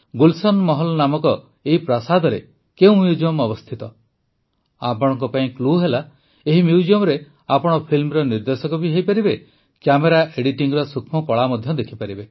ଗୁଲଶନ ମହଲ ନାମକ ଏହି ପ୍ରାସାଦରେ କେଉଁ ମ୍ୟୁଜିୟମ୍ ଅବସ୍ଥିତ ଆପଣଙ୍କ ପାଇଁ କ୍ଲୁ ହେଲା ଏହି ମ୍ୟୁଜିୟମରେ ଆପଣ ଫିଲ୍ମର ନିର୍ଦେଶକ ବି ହୋଇପାରିବେ କ୍ୟାମେରା ଏଡିଟିଂର ସୂକ୍ଷ୍ମକଳା ମଧ୍ୟ ଦେଖିପାରିବେ